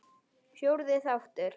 Fjórði þáttur